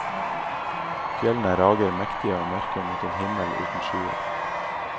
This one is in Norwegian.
Fjellene rager mektige og mørke mot en himmel uten skyer.